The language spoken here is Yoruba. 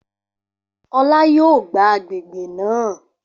Olá yóò gbá àgbègbè náà